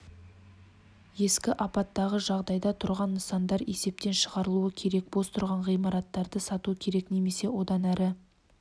ескі апатты жағдайда тұрған нысандар есептен шығарылуы керек бос тұрған ғимараттарды сату керек немесе одан әрі